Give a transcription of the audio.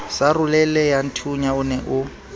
sa roleleyathunya o ne o